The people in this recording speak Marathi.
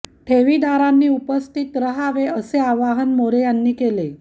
ठेवीदारांनी उपस्थित रहावे असे आवाहन मोरे यांनी केले आहे